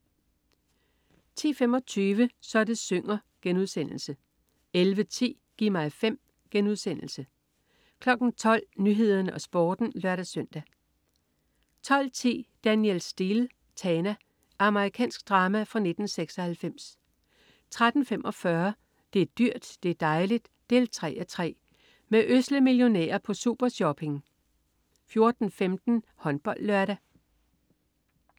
10.25 Så det synger* 11.10 Gi' mig 5* 12.00 Nyhederne og Sporten (lør-søn) 12.10 Danielle Steel: Tana. Amerikansk drama fra 1996 13.45 Det er dyrt, det er dejligt! 3:3. Med ødsle millionærer på super-shopping 14.15 HåndboldLørdag